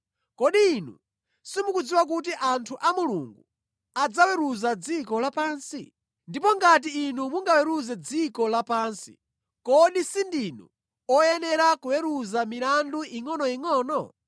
Kodi inu simukudziwa kuti anthu a Mulungu adzaweruza dziko lapansi? Ndipo ngati inu mungaweruze dziko lapansi, kodi sindinu oyenera kuweruza milandu ingʼonoyingʼono?